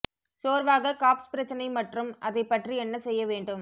சோர்வாக காப்ஸ் பிரச்சினை மற்றும் அதை பற்றி என்ன செய்ய வேண்டும்